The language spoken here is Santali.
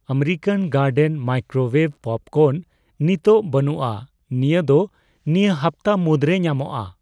ᱟᱢᱮᱨᱤᱠᱟᱱ ᱜᱟᱨᱰᱮᱱ ᱢᱟᱭᱠᱨᱳᱣᱭᱮᱵᱷ ᱯᱚᱯᱠᱚᱨᱱ ᱱᱤᱛᱚᱜ ᱵᱟᱹᱱᱩᱜᱼᱟ, ᱱᱤᱭᱟᱹ ᱫᱚ ᱱᱤᱭᱟᱹ ᱦᱟᱯᱛᱟ ᱢᱩᱫᱨᱮ ᱧᱟᱢᱚᱜᱚᱠᱼᱟ ᱾